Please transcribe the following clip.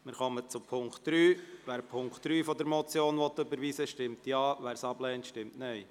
Wer die Ziffer 2 überweisen will, stimmt Ja, wer diese ablehnt, stimmt Nein.